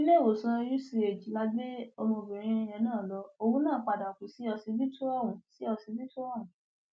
iléèwòsàn uch la gbé ọmọbìnrin yẹn láà lọ òun padà kú síọsibítù ọhún síọsibítù ọhún